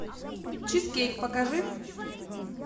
чизкейк покажи